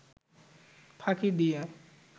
ফাঁকি দিয়ে